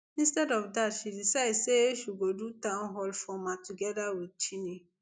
instead of dat she decide say she go do town hall format togeda wit cheney